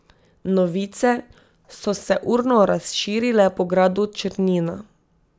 Novice so se urno razširile po gradu Črnina.